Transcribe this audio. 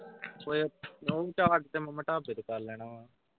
ਓਏ ਓਹ charge ਤੇ ਮਾਮਾ ਢਾਬ ਕਰ ਲੈਣਾ ਵਾ।